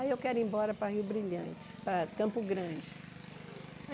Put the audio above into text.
Aí eu quero ir embora para Rio Brilhante, para Campo Grande.